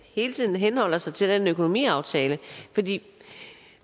hele tiden henholder sig til den økonomiaftale